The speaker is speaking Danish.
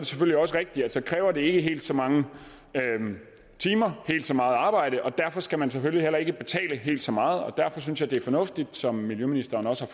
selvfølgelig også rigtigt at så kræver det ikke helt så mange timer helt så meget arbejde og derfor skal man selvfølgelig heller ikke betale helt så meget og derfor synes jeg det er fornuftigt som miljøministeren også